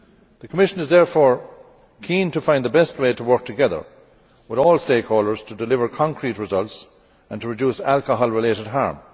The Commission is therefore keen to find the best way to work together with all stakeholders to deliver concrete results and to reduce alcohol related harm.